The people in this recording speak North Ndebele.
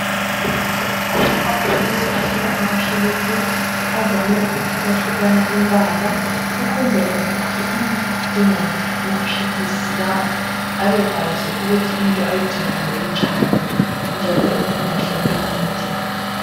Amabhokisi ahlala amaphilisi avame ukuhlukahlukana imbala ukwenzela ukuthi umuntu odinga amaphilisi lawo abekwazi ukuthi into ayidingayo injani njalo engalahleki ma eyidinga.